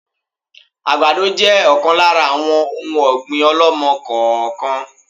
Àgbàdo jẹ ọ̀kan lára àwọn òun ọ̀gbín ọ̀lọ́mọ-kọọ-kan